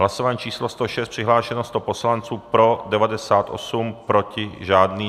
Hlasování číslo 106, přihlášeno 100 poslanců, pro 98, proti žádný.